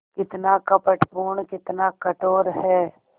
कितना कपटपूर्ण कितना कठोर है